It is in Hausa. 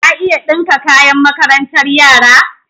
Ka iya ɗinka kayan makarantar yara?